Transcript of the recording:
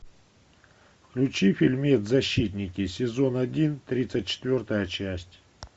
включи фильмец защитники сезон один тридцать четвертая часть